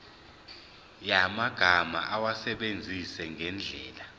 yamagama awasebenzise ngendlela